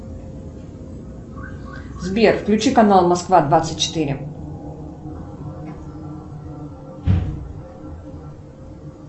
сбер включи канал москва двадцать четыре